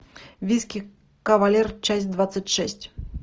виски кавалер часть двадцать шесть